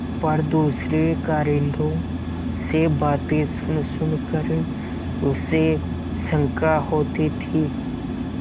पर दूसरे कारिंदों से बातें सुनसुन कर उसे शंका होती थी